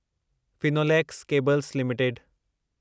Finolex cables limited